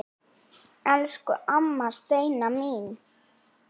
Elsku amma Steina mín.